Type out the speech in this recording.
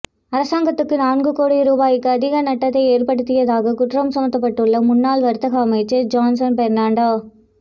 அரசாங்கத்துக்கு நான்கு கோடி ரூபாவுக்கும் அதிக நட்டத்தை ஏற்படுத்தியதாக குற்றம் சுமத்தப்பட்டுள்ள முன்னாள் வர்த்தக அமைச்சர் ஜொன்ஸ்டன் பெர்னாண்டோ